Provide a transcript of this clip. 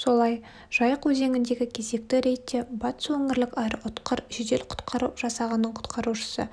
солай жайық өзеңіндегі кезекті рейдте батыс өңірлік аэроұтқыр жедел-құтқару жасағының құтқарушысы